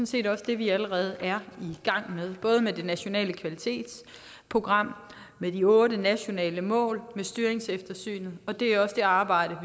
set også det vi allerede er i gang med både med det nationale kvalitetsprogram og de otte nationale mål og med styringseftersynet og det er også det arbejde